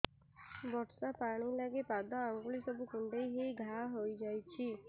ବର୍ଷା ପାଣି ଲାଗି ପାଦ ଅଙ୍ଗୁଳି ସବୁ କୁଣ୍ଡେଇ ହେଇ ଘା ହୋଇଯାଉଛି